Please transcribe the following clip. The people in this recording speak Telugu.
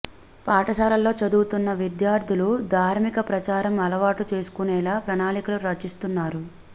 పాఠశాలల్లో చదువుతున్న విద్యార్థులు ధార్మిక ప్రచారం అలవాటు చేసుకునేలా ప్రణాళికలు రచిస్తున్నారు